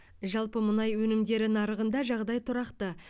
жалпы мұнай өнімдері нарығында жағдай тұрақты